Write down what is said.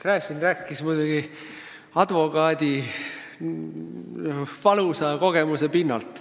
Gräzin rääkis muidugi advokaadi valusa kogemuse pinnalt.